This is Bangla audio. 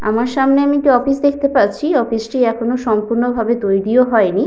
আমার সামনে আমি একটি অফিস দেখতে পাচ্ছি অফিস -টি এখনো সম্পূর্ণ ভাবে তৈরিও হয়নি।